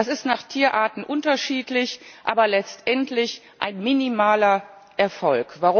Das ist nach Tierarten unterschiedlich, aber letztendlich ein minimaler Erfolg.